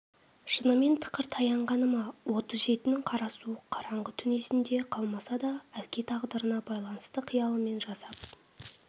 шынымен тықыр таянғаны ма отыз жетінің қара суық қараңғы түн есінде қалмаса да әке тағдырына байланысты қиялымен жасап